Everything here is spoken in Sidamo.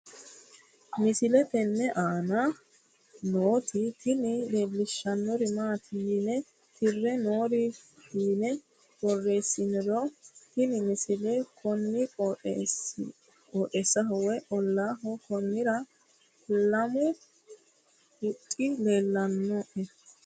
misile tenne aana nooti tini leellishshannori maati yine tirre noore fiine borreessiniro tini misile kuni qooxeessaho woy ollaho konnira leemmu huxxi leellannaoe